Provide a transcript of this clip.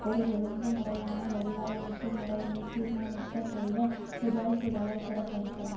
ஒரு ஒழுங்கு முறையான வடிகாலமைப்பு முறையை நிர்மாணிக்கச் செய்த சிபாரிசுகளை புறக்கணித்தன